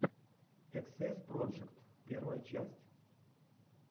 эксэс проджект первая часть